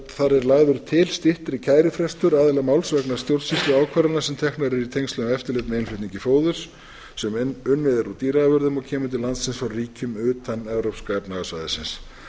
þar er lagður til styttri kærufrestur aðila máls vegna stjórnsýsluákvarðana sem teknar eru í tengslum við eftirlit með innflutningi fóðurs sem unnið er úr dýraafurðum og kemur til landsins frá ríkjum utan evrópska efnahagssvæðisins